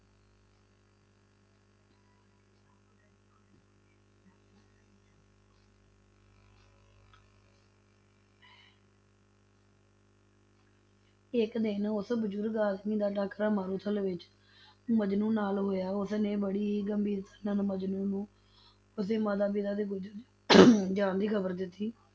ਇੱਕ ਦਿਨ ਉਸ ਬਜ਼ੁਰਗ ਆਦਮੀ ਦਾ ਟਾਕਰਾ ਮਾਰੂਥਲ ਵਿੱਚ ਮਜਨੂੰ ਨਾਲ ਹੋਇਆ, ਉਸਨੇ ਬੜੀ ਹੀ ਗੰਭੀਰਤਾ ਨਾਲ ਮਜਨੂੰ ਨੂੰ ਉਸਦੇ ਮਾਤਾ-ਪਿਤਾ ਦੇ ਗੁਜ਼ਰ ਜਾਣ ਦੀ ਖ਼ਬਰ ਦਿੱਤੀ,